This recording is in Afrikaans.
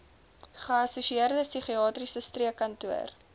geassosieerde psigiatriese streekkantoor